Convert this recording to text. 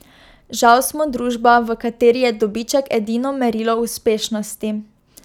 Žal smo družba, v kateri je dobiček edino merilo uspešnosti.